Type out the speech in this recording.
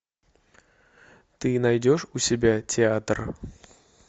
ты найдешь у себя театр